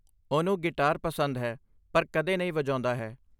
ਉਹਨੂੰ ਗਿਟਾਰ ਪਸੰਦ ਹੈ ਪਰ ਕਦੇ ਨਹੀਂ ਵਜਾਉਂਦਾ ਹੈ।